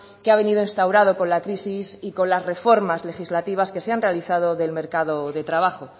que ha venido instaurado con la crisis y con las reformas legislativas que se han realizado del mercado de trabajo